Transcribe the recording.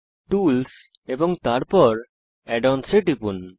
tools এবং তারপর add ons এ টিপুন